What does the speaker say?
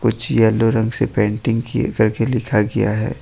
जी yellow रंग से painting करके लिखा गया है।